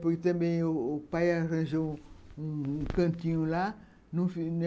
Porque também o pai arranjou um um cantinho lá.